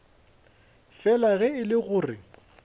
fela ge e le gore